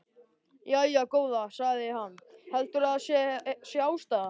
Jæja, góða, sagði hann, heldurðu að það sé ástæðan?